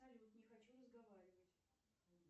салют не хочу разговаривать